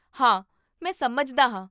ਹਾਂ, ਮੈਂ ਸਮਝਦਾ ਹਾਂ